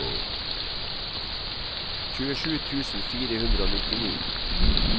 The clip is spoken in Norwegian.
tjuesju tusen fire hundre og nittini